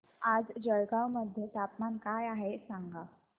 आज जळगाव मध्ये तापमान काय आहे सांगा